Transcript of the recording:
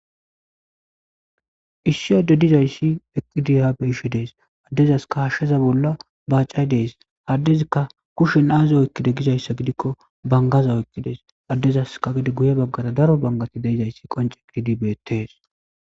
Issi adde dizayissi eqidi ha xellishe deyesi. Hasheza bolla baccayi desi, adezikka kusheni azi oyikide gikko baniggaza oyikisi. Adezape guye baggara daro baniggazi bettesi.